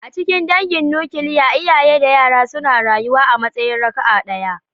A cikin dangin nukiliya, iyaye da yara suna rayuwa a matsayin raka'a ɗaya.